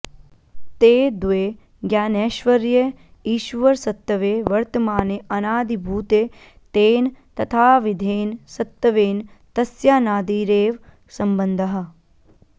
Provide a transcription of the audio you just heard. ते द्वे ज्ञानैश्वर्ये ईश्वरसत्त्वे वर्तमाने अनादिभूते तेन तथाविधेन सत्त्वेन तस्यानादिरेव सम्बन्धः